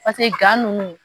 Paseke gan nunnu.